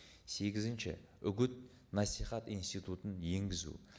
сегізінші үгіт насихат институтын енгізу